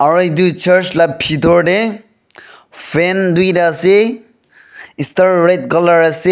aru etu church la bitor te fan duita ase star red colour ase.